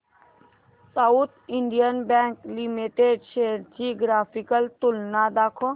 south Indian bank limited shares ची graphical तुलना दाखव